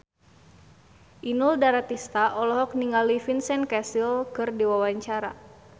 Inul Daratista olohok ningali Vincent Cassel keur diwawancara